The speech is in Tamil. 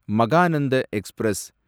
மகானந்த எக்ஸ்பிரஸ்